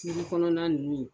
kɔnɔna nunnu